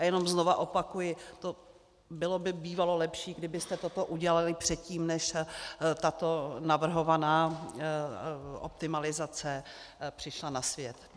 A jenom znovu opakuji, bylo by bývalo lepší, kdybyste toto udělali předtím, než tato navrhovaná optimalizace přišla na svět.